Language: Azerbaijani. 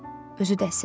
Özü də əsirdi.